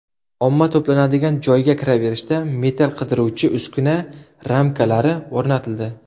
Omma to‘planadigan joyga kiraverishda metall qidiruvchi uskuna ramkalari o‘rnatildi.